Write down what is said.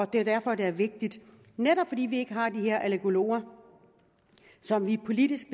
det er derfor det er vigtigt netop fordi vi ikke har de her allergologer som vi politisk